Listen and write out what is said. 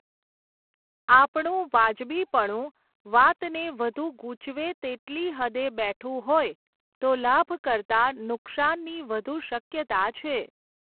આપણું વાજબીપણું વાતને વધુ ગૂંચવે તેટલી હદે બેઠું હોય, તો લાભ કરતાં નુકશાનની વધુ શક્યતા છે.